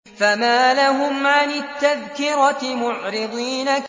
فَمَا لَهُمْ عَنِ التَّذْكِرَةِ مُعْرِضِينَ